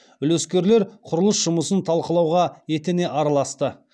үлескерлер құрылыс жұмысын талқылауға етене араласты